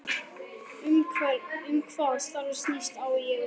Um hvað starfið snýst, á ég við